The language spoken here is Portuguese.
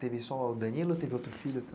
Teve só o Danilo ou teve outro filho